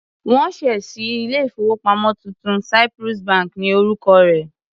Wọ́n ṣẹ̀ ṣí ilé-ìfowópamọ́ tuntun, Cyprus bank ni orúkọ rẹ̀.